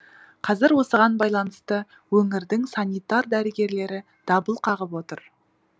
қазір осыған байланысты өңірдің санитар дәрігерлері дабыл қағып отыр